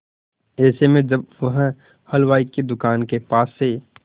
ऐसे में जब वह हलवाई की दुकान के पास से